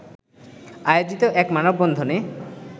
আয়োজিত এক মানববন্ধনে